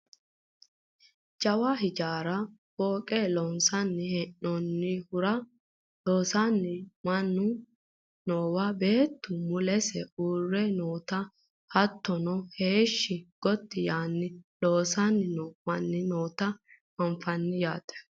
jawa hijaara fooqe loonsanni hee'noonnihura loosanno manni noowa beettu mulese uurre noota hattono heeshshi gotti yaanno loosanni noo manni noota anfannite yaate .